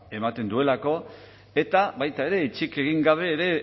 ematen duelako eta baita ere hitzik egin gabe ere